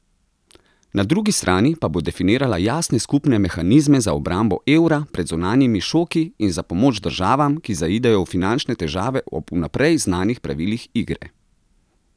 Na drugi strani pa bo definirala jasne skupne mehanizme za obrambo evra pred zunanjimi šoki in za pomoč državam, ki zaidejo v finančne težave ob vnaprej znanih pravilih igre.